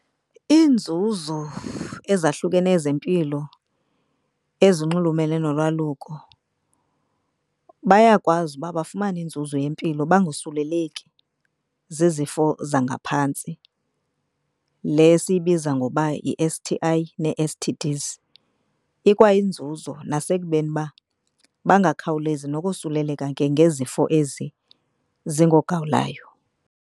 Iinzuzo ezahlukeneyo zempilo ezinxulumene nolwaluko. Bayakwazi ukuba bafumane inzuzo yempilo bangosuleleki zizifo zangaphantsi, le siyibiza ngoba yi-S_T_I nee-S_T_Ds. Ikwayinzuzo nasekubeni uba bangakhawulezi nokosuleleka ke ngezifo ezi zingoogawulayo.